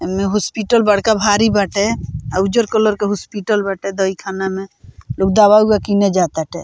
एने हॉस्पिटल बड़का भारी बाटे अउ उज्जर कलर के हॉस्पिटल बाटे दवाई खाना में लोग दवा-उवा किने जाटाते।